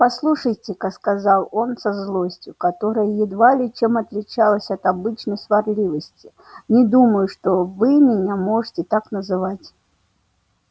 послушайте-ка сказал он со злостью которая едва ли чем отличалась от обычной сварливости не думаю что вы меня можете так называть